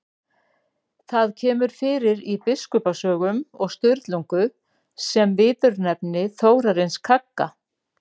Það kemur fyrir í Biskupasögum og Sturlungu sem viðurnefni Þórarins kagga.